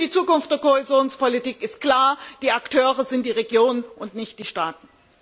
Für die Zukunft der Kohäsionspolitik ist klar, die Akteure sind die Regionen und nicht die Staaten!